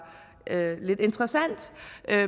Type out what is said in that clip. lidt interessant